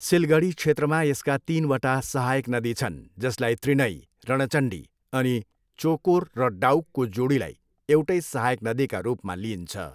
सिलगढी क्षेत्रमा यसका तिनवटा सहायक नदी छन्, जसलाई त्रिनई, रणचण्डी अनि चोकोर र डाउकको जोडीलाई एउटै सहायक नदीका रूपमा लिइन्छ।